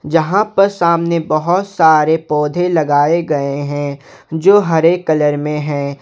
जहां प सामने बहुत सारे पौधे लगाए गए है जो हरे कलर में हैं।